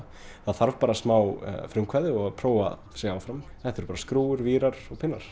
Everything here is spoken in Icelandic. það þarf bara smá frumkvæði og prófa sig áfram þetta eru bara skrúfur vírar og